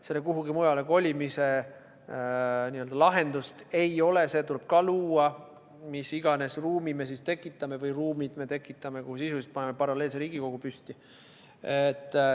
Selle kuhugi mujale kolimise lahendust ei ole, see tuleb ka luua, mis iganes ruumid me tekitame, kuhu sisuliselt paneme paralleelse Riigikogu püsti.